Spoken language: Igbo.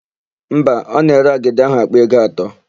Mba, ọ na-ere agidi áhụ̀ àkpà ego atọ.